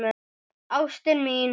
Ástin mín